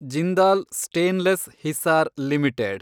Jindal stainless Hisar limited